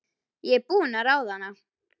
Ég er búin að ráða hana!